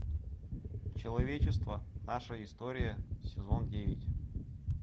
человечество наша история сезон девять